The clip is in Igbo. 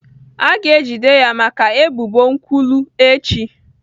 A ga-ejide ya maka ebubo nkwulu echi.